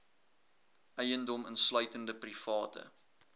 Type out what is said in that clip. eiendom insluitende private